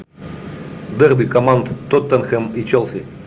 дерби команд тоттенхэм и челси